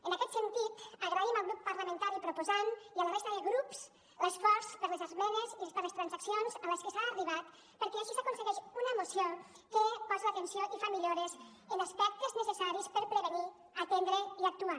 en aquest sentit agraïm al grup parlamentari proposant i a la resta de grups l’esforç per les esmenes i per les transaccions a les que s’ha arribat perquè així s’aconsegueix una moció que posa l’atenció i fa millores en aspectes necessaris per prevenir atendre i actuar